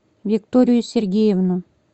викторию сергеевну